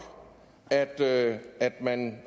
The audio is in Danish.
og at at man